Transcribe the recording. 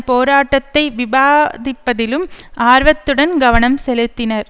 போராட்டத்தை விவாதிப்பதிலும் ஆர்வத்துடன் கவனம் செலுத்தினர்